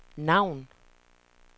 navn